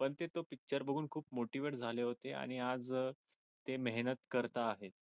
पण ते तो पिक्चर बघून खूप मोठे झाले होते आणि आज ते मेहनत करत आहेत